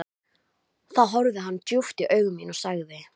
Mér hafði virst þetta vera góður strákur.